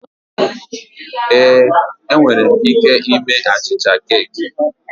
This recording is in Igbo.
Ee, enwere m ike ime achịcha keeki